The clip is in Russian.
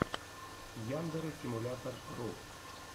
яндэрэ симулятор ру